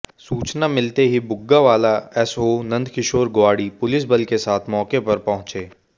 सूचना मिलते ही बुग्गावाला एसओ नंदकिशोर ग्वाड़ी पुलिस बल के साथ मौके पर पहुंचे